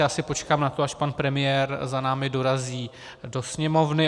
Já si počkám na to, až pan premiér za námi dorazí do Sněmovny.